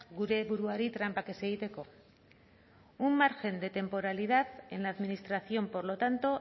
gure buruari tranpak ez egiteko un margen de temporalidad en la administración por lo tanto